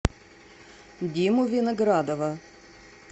диму виноградова